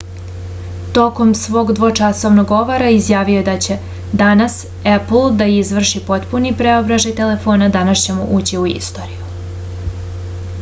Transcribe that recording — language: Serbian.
tokom svog dvočasovnog govora izjavio je da će danas epl da izvrši potpuni preobražaj telefona danas ćemo ući u istoriju